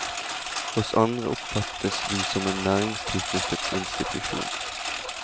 Hos andre oppfattes vi som en næringstilknyttet institusjon.